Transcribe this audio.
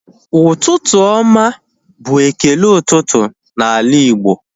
Ụtụtụ oma bụ ekele ụtụtụ na ala Igbo